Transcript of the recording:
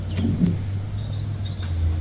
આજ નુકહું છુ અલ્યા